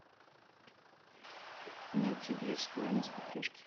найти бридж тв на смотрешке